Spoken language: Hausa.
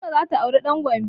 Fatima za ta aure ɗan Gombe